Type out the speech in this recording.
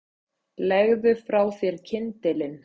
Legðu frá þér kyndilinn